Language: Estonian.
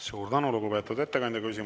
Suur tänu, lugupeetud ettekandja!